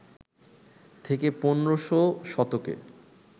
থেকে ১৫শ শতকে